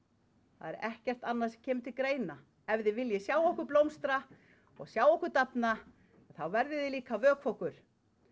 það er ekkert annað sem kemur til greina ef þið viljið sjá okkur blómstra og sjá okkur dafna þá verðið þið líka að vökva okkur